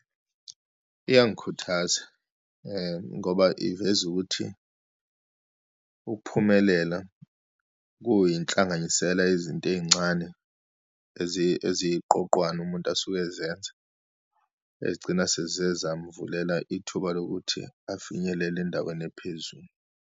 Iyangikhuthaza ngoba iveza ukuthi ukuphumelela kuyinhlanganyisela yezinto eyincane, eziyiqoqwane umuntu asuke ezenza, ezigcina seziyezamvulela ithuba lokuthi afinyelele endaweni ephezulu.